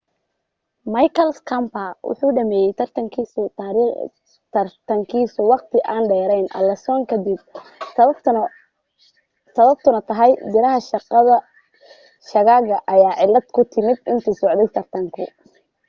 michael schumacher wuxuu dhammeeyay tartankiisii ​​wakhti aan dheerayn alonso kadib sababtuna tahay biraha shaagaga ayaa cillad ku timi intii uu socday tartanku